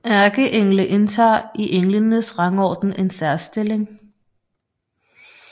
Ærkeengle indtager i englenes rangorden en særstilling